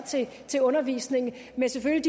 til undervisningen men selvfølgelig